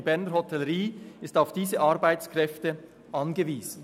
Die Berner Hotellerie ist auf diese Arbeitskräfte angewiesen.